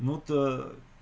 ну та